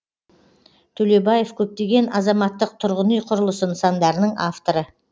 төлебаев көптеген азаматтық тұрғын үй құрылысы нысандарының авторы